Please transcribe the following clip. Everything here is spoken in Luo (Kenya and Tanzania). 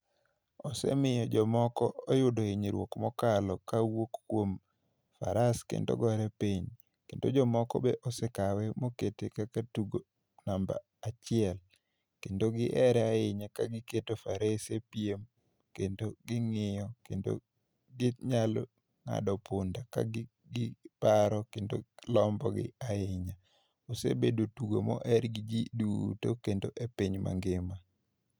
Osemiyo jomoko oyudo hinyruok mokalo ka wuok kuom faras kendo gore piny. Kendo jomoko be osekawe mokete kak tugo namba achiel. Kendo gihere ahinya ka giketo farese piem kendo ging'iyo, kendo ginyalo ng'ado punda ka giparo kendo lombogi ahinya. Osebedo tugo moher gi ji duto kendo e piny mangima.